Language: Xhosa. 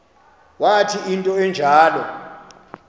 wathi into enjalo